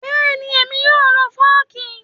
Bẹ́ẹ̀ni, èmi yóò lo Fọ́ọ́kì.